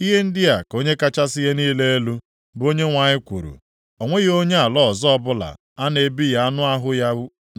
Ihe ndị a ka Onye kachasị ihe niile elu, bụ Onyenwe anyị kwuru, o nweghị onye ala ọzọ ọbụla a na-ebighị anụ ahụ ya